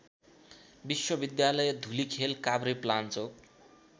विश्वविद्यालय धुलिखेल काभ्रेपलान्चोक